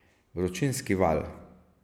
Vročinski val.